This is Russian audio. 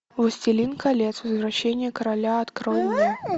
властелин колец возвращение короля открой мне